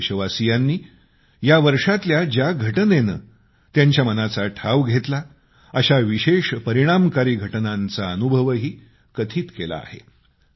काही देशवासियांनी यावर्षातल्या ज्या घटनेने त्यांच्या मनाचा ठाव घेतला अशा विशेष परिणामकारी घटनांचा अनुभवही कथित केला आहे